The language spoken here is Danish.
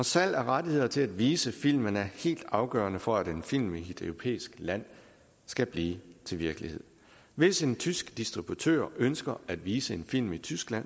salg af rettigheder til at vise filmene er helt afgørende for at en film i et europæisk land skal blive til virkelighed hvis en tysk distributør ønsker at vise en film i tyskland